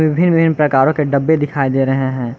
विभिन्न विभिन्न प्रकारों के डब्बे दिखाई दे रहे हैं।